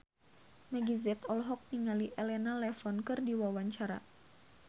Meggie Z olohok ningali Elena Levon keur diwawancara